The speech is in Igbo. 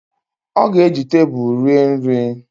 Ọ ga-eji tebulu rie nri